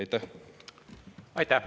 Aitäh!